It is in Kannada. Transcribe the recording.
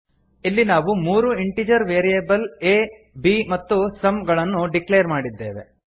ಇಲ್ಲಿ ನಾವು ಮೂರು ಇಂಟಿಜರ್ ವೇರಿಯೇಬಲ್ ಆ b ಮತ್ತು ಸಮ್ ಗಳನ್ನು ಡಿಕ್ಲೇರ್ ಮಾಡಿದ್ದೇವೆ